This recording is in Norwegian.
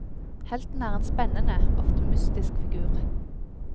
Helten er en spennende, ofte mystisk figur.